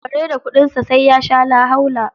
Kare da kuɗinsa, sai ya sha lahaula.